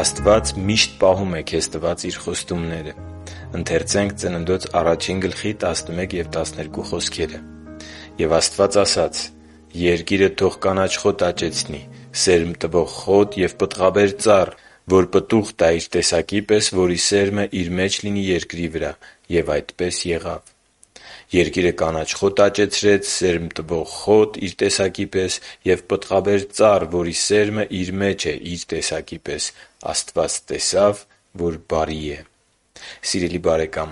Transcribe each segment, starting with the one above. Աստված միշտ պահում է քեզ տված Իր խոստումները «Եվ Աստված ասաց. «Երկիրը թող կանաչ խոտ աճեցնի, սերմ տվող խոտ և պտղաբեր ծառ, որ պտուղ տա՝ իր տեսակի պես, որի սերմը իր մեջ լինի երկրի վրա»։ Եվ այդպես եղավ։ Երկիրը կանաչ խոտ աճեցրեց, սերմ տվող խոտ՝ իր տեսակի պես, և պտղաբեր ծառ, որի սերմը իր մեջ է՝ իր տեսակի պես։ Աստված տեսավ, որ բարի է» (Ծննդոց 1.11-12)։ Սիրելի՛ բարեկամ,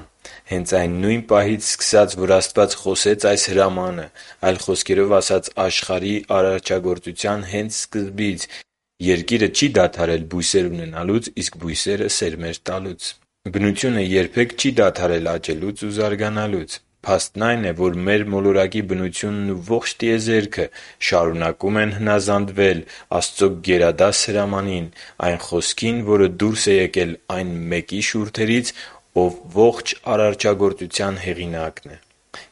հենց այն նույն պահից սկսած, որ Աստված խոսեց այս հրամանը, այլ խոսքերով ասած, աշխարհի արարչագործության հենց սկզբից Երկիրը չի դադարել բույսեր ունենալուց և սերմեր տալուց։ Բնությունը երբեք չի դադարել աճել ու զարգանալ։ Փաստն այն է, որ մեր մոլորակի բնությունն ու ողջ տիեզերքը շարունակում են հնազանդվել Աստծո գերադաս հրամանին՝ այն Խոսքին, որը դուրս է եկել այն մեկի շուրթերից, Ով ողջ արարչագործության Հեղինակն է։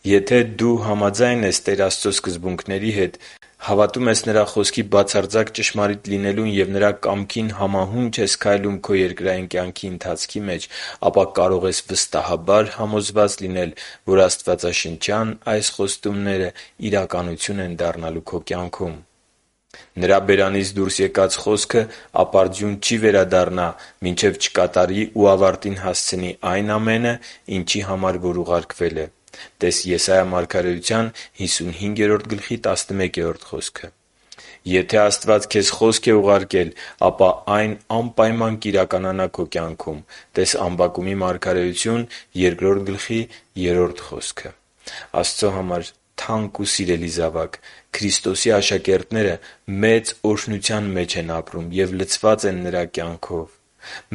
Եթե դու համաձայն ես տեր Աստծո սկզբունքների հետ, հավատում ես Նրա Խոսքի բացարձակ ճշմարիտ լինելուն և Նրա կամքին համահունչ ես քայլում քո երկրային ընթացքի մեջ, ապա կարող ես վստահաբար համոզված լինել, որ աստվածաշնչյան այս խոստումները իրականություն են դառնալու քո կյանքում… - Նրա բերանից դուրս եկած խոսքը ապարդյուն չի վերադառնա մինչև չկատարի ու ավարտին հասցնի այն ամենը, ինչի համար որ ուղարկվել է։ (տե՛ս Եսայի 55.11 խոսքը)։ - Եթե Աստված քեզ Խոսք է ուղարկել, ապա այն անպայման կիրականանա քո կյանքում։ (տե՛ս Ամբակում 2.3 խոսքը)։ Աստծո համար թանկ ու սիրելի՛ զավակ, Քրիստոսի աշակերտները մեծ օրհնության մեջ են ապրում և լցված Նրա կյանքով։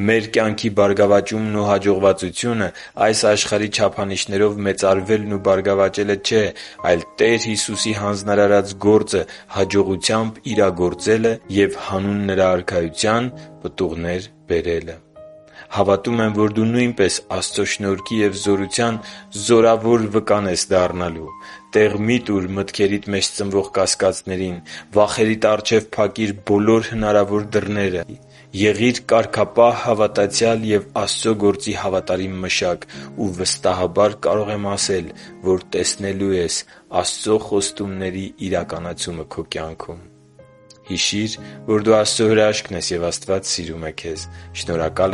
Մեր կյանքի բարգավաճումն ու հաջողվածությունը այս աշխարհի չափանիշներով մեծարվելն ու բարգավաճելը չէ, այլ Տեր Հիսուսի հանձնարարած գործը հաջողությամբ իրագործելը և հանուն Նրա Արքայության պտուղներ բերելը։ Հավատում եմ, որ դու նույնպես Աստծո շնորհքի և զորության զորավոր վկան ես դառնալու։ Տեղ մի՛ տուր մտքերիդ մեջ ծնվող կասկածներին։ Վախերիդ առաջ փակի՛ր հնարավոր բոլոր դռները։ Եղի՛ր կարգապահ հավատացյալ և Աստծո գործի հավատարիմ մշակ, ու վստահաբար կարող եմ ասել, որ տեսնելու ես Աստծո խոստումների իրականացումը քո կյանքում։ Հիշի՛ր, որ դու Աստծո հրաշքն ես, և Աստված սիրում է քեզ։ Շնորհակալ